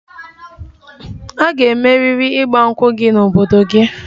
A ga-emeriri 'Igba nkwu' gị n'obodo gị!